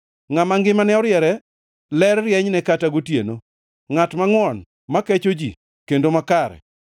Ngʼama ngimane oriere ler rienyne kata gotieno, ngʼat mangʼwon, ma kecho ji kendo makare.